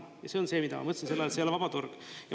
Ja see on see, mida ma mõtlesin selle all, et ei ole vaba turg.